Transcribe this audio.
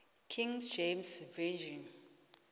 king james version